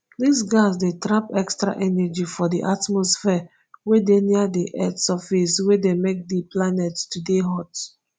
dis gas dey trap extra energy for di atmosphere wey dey near di earth surface wey dey make di planet to dey hot